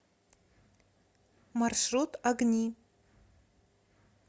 маршрут огни